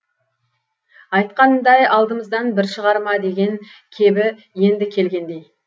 айтқанындай алдымыздан бір шығар ма деген кебі енді келгендей